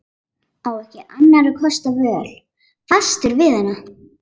Á ekki annarra kosta völ, fastur við hana.